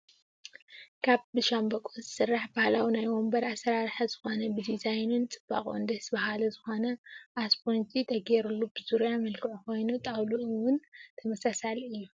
ካብ ብሻምበቆ ዝስራሕ ባህላዊ ናይ ወንበር ኣሰራርሓ ዝኮነ ብዲዛይኑን ፅባቅኡን ደስ በሃሊ ዝኮነ እስቦንጂ ተገይሩሉ ብዙርያ መልክዕ ኮይኑ ጣውሉኡ ውን ተመሳሳሊ እዩ።